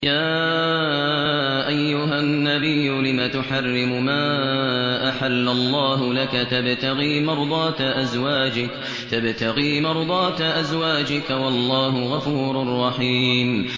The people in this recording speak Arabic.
يَا أَيُّهَا النَّبِيُّ لِمَ تُحَرِّمُ مَا أَحَلَّ اللَّهُ لَكَ ۖ تَبْتَغِي مَرْضَاتَ أَزْوَاجِكَ ۚ وَاللَّهُ غَفُورٌ رَّحِيمٌ